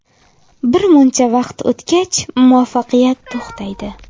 Birmuncha vaqt o‘tgach, muvaffaqiyat to‘xtaydi.